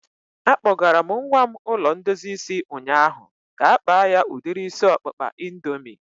A kpọgara m nwa m ụlọ ndozi isi ụnyaahụ ka-akpa ya udiri isi ọkpụkpa indoomị